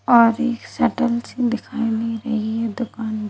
और एक सतल सी दिखाई दी रही है दुकान --